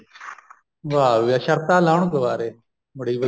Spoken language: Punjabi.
ਵਾ ਬੀ ਵਾ ਸ਼ਰਤਾਂ ਲਾਉਣ ਕੁਆਰੇ ਬੜੀ